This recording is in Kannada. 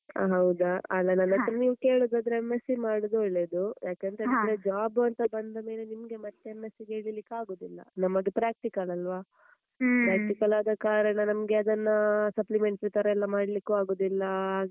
ಹಾ ಹೌದಾ ಆದ್ರೆ ನನ್ ಹತ್ರ ನೀವ್ ಕೇಳುದಾದ್ರೆ M.sc ಮಾಡುದು ಒಳ್ಳೇದು. ಯಾಕಂತ ಹೇಳಿದ್ರೆ job ಅಂತ ಬಂದ ಮೇಲೆ ನಿಮಗೆ ಮತ್ತೆ M.sc ಗೆ ಇಳೀಲಿಕ್ಕೆ ಆಗುದಿಲ್ಲ. ನಮ್ಮದು practical ಅಲ್ವಾ? Practical ಆದಕಾರಣ ನಮ್ಗೆ ಅದನ್ನ supplementary ತರಯೆಲ್ಲಾ ಮಾಡ್ಲಿಕ್ಕೂ ಆಗುದಿಲ್ಲ, ಹಾಗೆ,